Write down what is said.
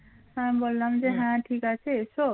ঠিক আছে এসো